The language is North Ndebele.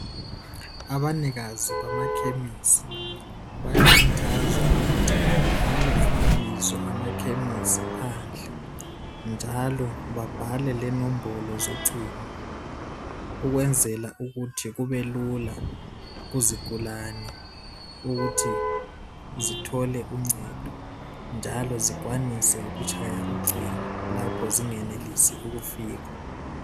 Abanikazi bamakhemisi bayakhuthazwa ukuthi babhale amabizo amakhemisi phandle, njalo babhale lenomobolo zocingo ukwenzela ukuthi kubelula kuzigulane ukuthi zithole uncedo. Njalo zikwanise ukutshaya ucingo lapho zingenelisi ukufika.